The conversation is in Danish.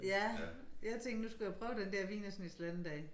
Ja jeg tænkte nu skulle jeg prøve den der wienerschnitzel den dag